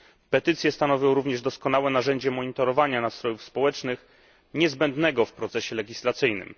Petycje stanowią również doskonałe narzędzie monitorowania nastrojów społecznych, niezbędne w procesie legislacyjnym.